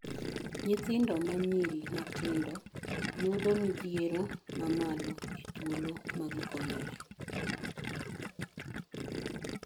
Nyithindo manyiri matindi yudo modhiero mamalo e thuolo magi konyore.